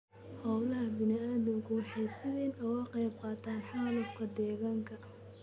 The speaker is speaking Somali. Hawlaha bani'aadamku waxay si weyn uga qaybqaataan xaalufka deegaanka.